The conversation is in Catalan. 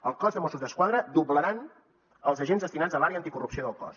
el cos de mossos d’esquadra doblarà els agents destinats a l’àrea anticorrupció del cos